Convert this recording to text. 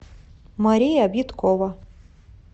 мария биткова